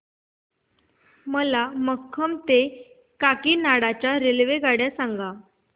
मला खम्मम ते काकीनाडा च्या रेल्वेगाड्या सांगा